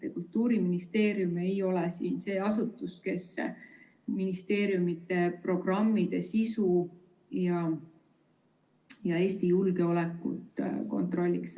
Kultuuriministeerium ei ole see asutus, kes muuseumide programmide sisu ja Eesti julgeolekut kontrolliks.